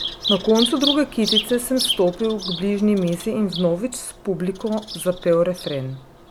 Na koncu druge kitice sem stopil k bližnji mizi in vnovič s publiko zapel refren.